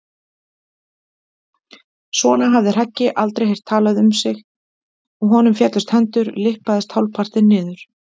Svona hafði Hreggi aldrei heyrt talað við sig og honum féllust hendur, lyppaðist hálfpartinn niður.